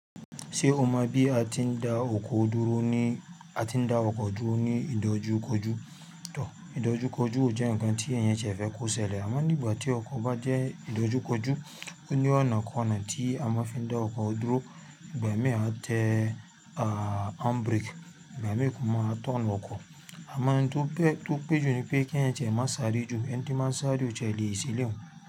Ṣé o mọ bí a ti ń da ọkọ dúró ní, a ti ń da ọkọ jó ní ìdójúkójú? Tọ̀, ìdójúkójú ò jẹ́ ǹkan tí èèyàn jẹ̀fẹ́ kó ṣẹlẹ̀, àmọ́ nígbà tí ọkọ̀ bá jẹ́ ìdójúkójú, ó ní ọ̀nà kan náà tí a máa ń fi da ọkọ dúró, ìgbà mẹ́e a tẹ à handbrake, ìgbà mẹ́ẹ́ẹ́ kan máa tọ̀n ọkọ̀. Àmọ́ ohun tó péjú ni pé kí ẹ̀yàn jẹ má sáré jù, ẹni tí máa ń sáré o tẹ lè ṣílẹ̀.